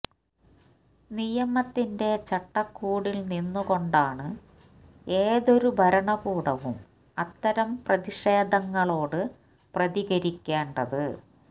നിയമത്തിന്റെ ചട്ടക്കൂടിൽ നിന്ന് കൊണ്ടാണ് ഏതൊരു ഭരണകൂടവും അത്തരം പ്രതിഷേധങ്ങളോട് പ്രതികരിക്കേണ്ടത്